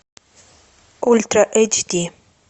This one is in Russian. ультра эйч ди